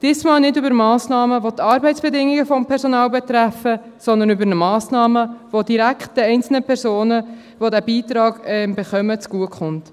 Diesmal nicht um Massnahmen, welche die Arbeitsbedingungen des Personals betreffen, sondern um Massnahmen, welche direkt den einzelnen Personen zugutekommen, welche den Beitrag direkt bekommen.